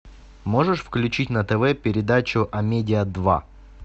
можешь включить на тв передачу амедиа два